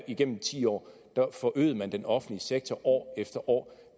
igennem ti år forøgede den offentlige sektor år efter år